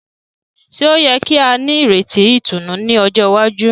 Ṣe o yẹ ki a nireti ìtùnú ní ọjọ iwaju?